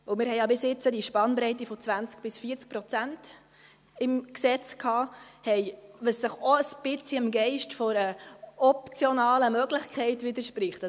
Wir hatten bis jetzt die Spannbreite von 20– 40 Prozent im Gesetz, was ein bisschen dem Geist einer optionalen Möglichkeit widerspricht.